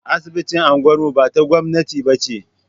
Asibitin unguwar mu ta gwamnati ba ce.